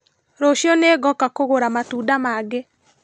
Rũciũ nĩngoka kũgũra matunda mangĩ.